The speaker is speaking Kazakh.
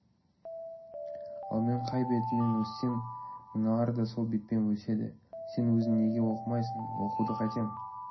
ал мен қай бетіммен өссем мыналар да сол бетпен өседі сен өзің неге оқымайсың оқуды қайтем